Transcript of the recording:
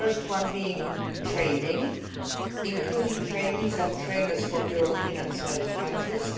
The first one is training, including trainees and trainers from European and third countries.